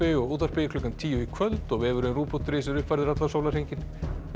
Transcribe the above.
og útvarpi klukkan tíu í kvöld og vefurinn rúv punktur is er uppfærður allan sólarhringinn verið